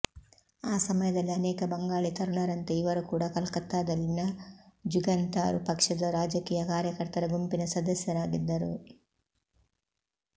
ಆ ಸಮಯದಲ್ಲಿ ಅನೇಕ ಬಂಗಾಳಿ ತರುಣರಂತೆ ಇವರು ಕೂಡ ಕಲ್ಕತ್ತಾದಲ್ಲಿನ ಜುಗಂತಾರ್ ಪಕ್ಷದ ರಾಜಕೀಯ ಕಾರ್ಯಕರ್ತರ ಗುಂಪಿನ ಸದಸ್ಯರಾಗಿದ್ದರು